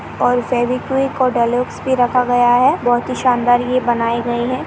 और फेबिकीविक और डेलॉक्स भी रखा गया है बहुत ही शानदार ये बनाए गए हैं।